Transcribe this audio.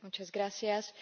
Señor Presidente,